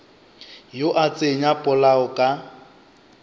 yo a tsenya polao ka